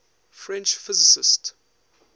french physicists